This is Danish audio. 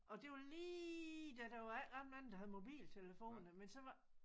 Og det var lige da der var ikke ret mange der havde mobiltelefoner men så var